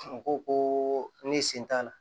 U ko ko ne sen t'a la